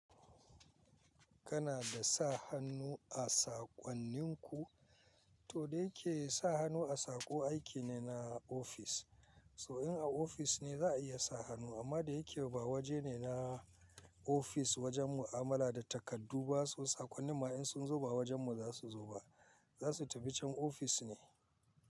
Kana da sa hannu a saƙonninku? To da ya ke sa hannu a saƙo aiki ne na ofis. So in a ofis ne za a iya sa hannu amma da yake ba waje ne na ofis wajen mu'amala da takardu ba so sakonnin ma in sun zo ba wajen mu za su zo ba. Za su tafi can ofis ne.